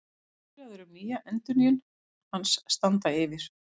Viðræður um endurnýjun hans standa yfir